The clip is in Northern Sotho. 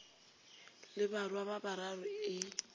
le barwa ba bararo e